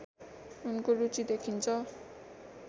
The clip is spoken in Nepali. उनको रुचि देखिन्छ